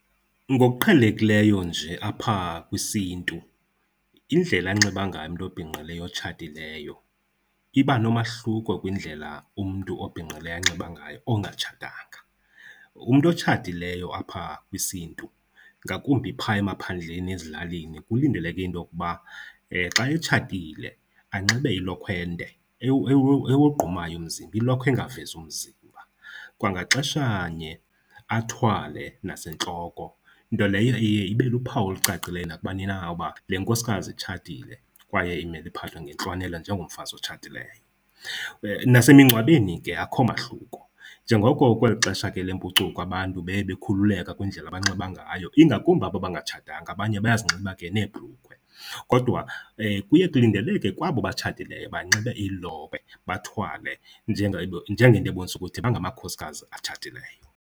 Ngokuqhelekileyo nje apha kwisiNtu, indlela anxiba ngayo umntu obhinqileyo otshatileyo iba nomahluko kwindlela umntu obhinqileyo anxiba ngayo ongatshatanga. Umntu otshatileyo apha kwisiNtu, ngakumbi phaya emaphandleni ezilalini, kulindeleke into yokuba xa etshatile anxibe ilokhwe ende ewogqumayo umzimba, ilokhwe engavezi umzimba. Kwangaxeshanye athwale nasentloko, nto leyo iye ibe luphawu olucacileyo nakubani na uba le nkosikazi itshatile kwaye imele iphathwe ngentlonelo njengomfazi otshatileyo. Nasemingcwabeni ke akukho mahluko. Njengoko kweli xesha ke lempucuko abantu beye bekhululeka kwindlela abanxiba ngayo, ingakumbi aba bangatshatanga abanye bayazinxiba ke nebhrukhwe, kodwa kuye kulindeleke kwabo batshatileyo banxibe iilokhwe bathwale njengento ebonisa ukuthi bangamakhosikazi atshatileyo.